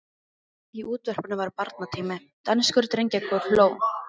Í útvarpinu var barnatími: danskur drengjakór hló.